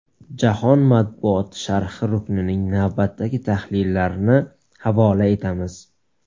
Jahon matbuoti sharhi ruknining navbatdagi tahlillarini havola etamiz.